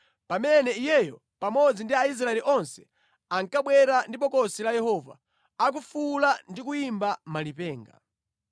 pamene iyeyo pamodzi ndi Aisraeli onse ankabwera ndi Bokosi la Yehova, akufuwula ndi kuyimba malipenga.